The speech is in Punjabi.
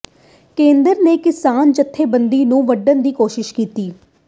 ਕੇਂਦਰ ਨੇ ਕਿਸਾਨ ਜੱਥੇਬੰਦੀਆਂ ਨੂੰ ਵੰਡਣ ਦੀ ਕੋਸ਼ਿਸ਼ ਕੀਤੀ